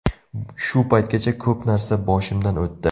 Shu paytgacha ko‘p narsa boshimdan o‘tdi.